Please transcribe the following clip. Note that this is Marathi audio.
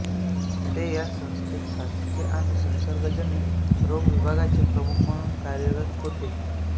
ते या संस्थेत साथीचे आणि संसर्गजन्य रोग विभागाचे प्रमुख म्हणून कार्यरत होते